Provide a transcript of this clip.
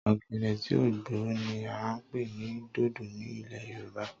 ògèdè tí ó gbó ni a ń pè ní dodo ní ilẹ̀ Yorùbá